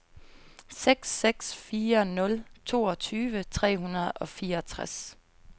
seks seks fire nul toogtyve tre hundrede og fireogtres